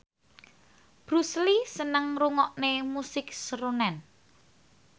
Bruce Lee seneng ngrungokne musik srunen